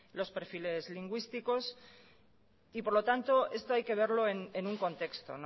los perfiles lingüísticos y por lo tanto esto hay que verlo en un contexto